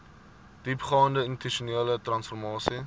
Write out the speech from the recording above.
diepgaande institusionele transformasie